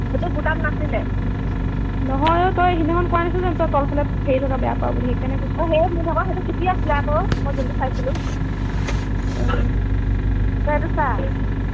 সেইটো তোৰ তাত নাছিলে নহয় অ তই সেইদিনা খন কোৱা নাছিলি জানো তই তল ফালে হেৰি থকা বেয়া পাও বুলি সেই কাৰণে কৈছো অ সেইটো মোৰ ভাগৰ চুটি আছিলে আকৌ মই যোনটো চাই চিলো আহ তই এইটো চা